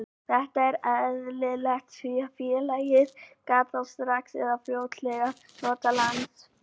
Þetta er eðlilegt því að félagið gat þá strax eða fljótlega notað lánsféð.